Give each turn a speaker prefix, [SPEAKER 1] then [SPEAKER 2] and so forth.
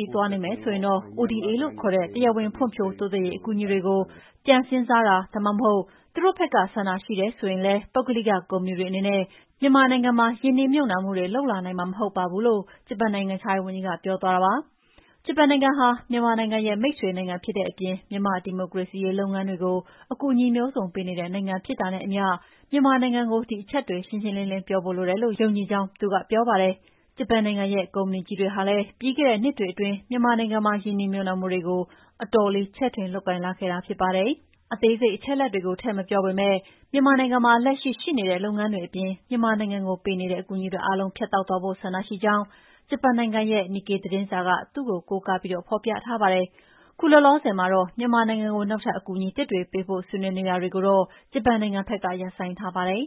[SPEAKER 1] ြီး သွားနေမယ်ဆိုရင်၊ ODA လို့ခေါ်တဲ့ တရားဝင် ဖွံ့ဖြိုးတိုးတက်ရေး အကူအညီတွေကို ပြန်စဉ်းစားတာ ဒါမှမဟုတ် သူတို့ဘက်က ဆန္ဒရှိတယ်ဆိုရင်လည်း ပုဂ္ဂလိကကုမ္ပဏီတွေ အနေနဲ့ မြန်မာနိုင်ငံမှာ ရင်းနှီးမြှုပ်နှံမှုတွေ လုပ်လာနိုင်မှာ မဟုတ်ပါဘူး။” လို့ ဂျပန်နိုင်ငံခြားရေးဝန်ကြီးက ပြောသွားတာပါ။ ဂျပန်နိုင်ငံဟာ မြန်မာနိုင်ငံရဲ့ မိတ်ဆွေနိုင်ငံဖြစ်တဲ့အပြင် မြန်မာ့ ဒီမိုကရေစီရေး လုပ်ငန်းစဉ်တွေကို အကူအညီ မျိုးစုံပေးနေတဲ့ နိုင်ငံဖြစ်တာနဲ့အမျှ၊ မြန်မာနိုင်ငံကို ဒီအချက်တွေ ရှင်းရှင်းလင်းလင်း ပြောဖို့လိုအပ်တယ်လို့ ယုံကြည်ကြောင်း သူကပြောပါတယ်။ ဂျပန်နိုင်ငံရဲ့ ကုမ္ပဏီကြီးတွေဟာလည်း ပြီးခဲ့တဲ့ နှစ်တွေအတွင်း မြန်မာနိုင်ငံမှာ ရင်းနှီးမြှုပ်နှံမှုတွေကို အတော်လေးကို ချဲ့ထွင်လုပ်ကိုင်လာခဲ့တာ ဖြစ်ပါတယ်။ အသေးစိတ်အချက်အလက်တွေကို ထည့်မပြောပေမဲ့၊ မြန်မာနိုင်ငံမှာ လက်ရှိ ရှိနေတဲ့ လုပ်ငန်းတွေအပြင် မြန်မာနိုင်ငံကိုပေးနေတဲ့ အကူအညီတွေ အားလုံးကို ဖြတ်တောက်သွားဖို့ ဆန္ဒရှိကြောင်း ဂျပန်နိုင်ငံရဲ့ Nikkei သတင်းစာက သူ့ကို ကိုးကားပြီး ဖော်ပြထားပါတယ်။ အခုလောလောဆယ်မှာတော့ မြန်မာနိုင်ငံကို နောက်ထပ်အကူအညီသစ်တွေပေးဖို့ ဆွေးနွေးနေတာတွေကိုတော့ ဂျပန်နိုင်ငံဘက်က ရပ်ဆိုင်းထားပါတယ်။